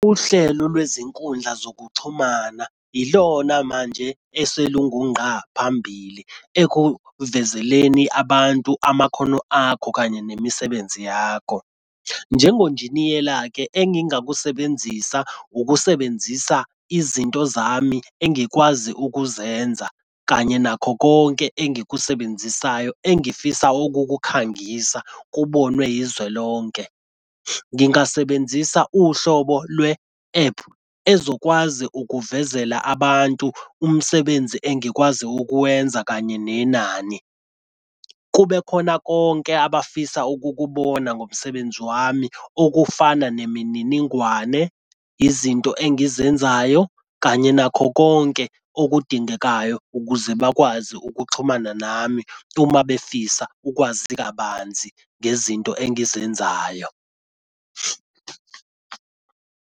Uhlelo lwezinkundla zokuxhumana ilona manje eselungungqa phambili ekuvezeleni abantu amakhono akho kanye nemisebenzi yakho. Njengonjiniyela-ke engingakusebenzisa ukusebenzisa izinto zami engikwazi ukuzenza kanye nakho konke engikusebenzisa engifisa ukukukhangisa kubonwe izwe lonke. Ngingasebenzisa uhlobo lwe-ephu ezokwazi ukukuvezela abantu umsebenzi engikwazi ukuwenza kanye nenani. Kube khona konke abafisa ukukubona ngomsebenzi wami okufana nemininingwane, izinto engizenzayo, kanye nakho konke okudingekayo ukuze bakwazi ukuxhumana nami uma befisa ukwazi kabanzi ngezinto engizenzayo.